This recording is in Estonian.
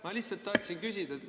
Ma lihtsalt tahtsin küsida.